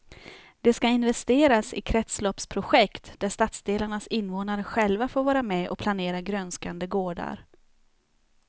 Det ska investeras i kretsloppsprojekt där stadsdelarnas invånare själva får vara med och planera grönskande gårdar.